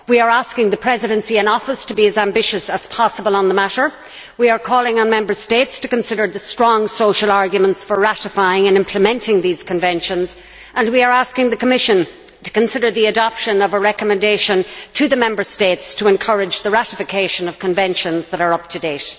We are asking the Presidency in Office to be as ambitious as possible on the matter, we are calling on Member States to consider the strong social arguments for ratifying and implementing these conventions, and we are asking the Commission to consider the adoption of a recommendation to the Member States to encourage the ratification of conventions that are up to date.